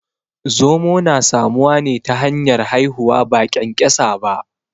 Zomo na samuwa ne ta hanyar haihuwa ba ƙyanƙyasa ba